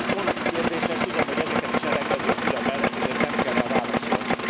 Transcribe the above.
Ezek szónoki kérdések, tudom, hogy ezeket is elengedi a füle mellett, ezért nem kell rá válaszolni.